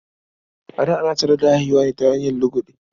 A da, ana sanar da haihuwa ne ta hanyar lugude.